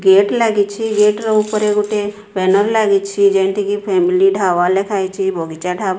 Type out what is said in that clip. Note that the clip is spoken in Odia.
ଗେଟ ଲାଗିଛି। ଗେଟ ର ଉପରେ ଗୋଟେ ପେନାଲ ଲାଗିଛି ଯେନଟିକି ଫେମିଲି ଢ଼ାବା ଲେଖାହେଇଚି ବଗିଚା ଢ଼ାବା।